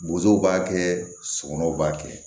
Bozow b'a kɛ sokɔnɔw b'a kɛ